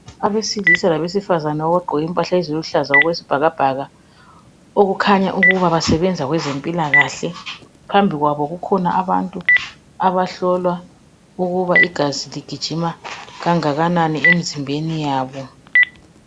Abesilisa labesifazana abagqoke impahla eziluhlaza okwesibhakabhaka labhalwa ngamabala okukhanya ukuthi basebenza kwezempilakahle. Phambi kwabo kukhona abantu abahlolwa ukuba igazi ligijima kangakanani emzimbeni yabo.